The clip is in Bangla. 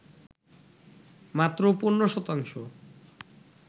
মাত্র ১৫ শতাংশ